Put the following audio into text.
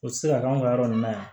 O tɛ se ka k'anw ka yɔrɔ nun na yan